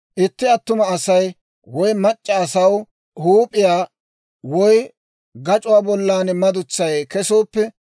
«Itti attuma asaw woy mac'c'a asaw huup'iyaa woy gac'uwaa bollan madutsay kesooppe,